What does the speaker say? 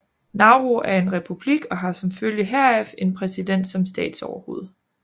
Nauru er en republik og har som følge heraf en præsident som statsoverhoved